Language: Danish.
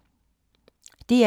DR1